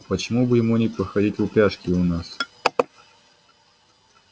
почему бы ему не походить в упряжке и у нас